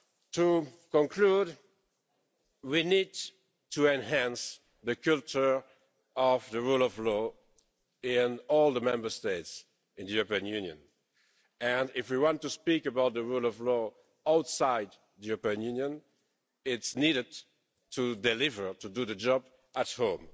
To conclude, we need to enhance the culture of the rule of law in all the Member States in the European Union and if we want to speak about the rule of law outside the European Union, it's necessary to deliver, to do the job at home.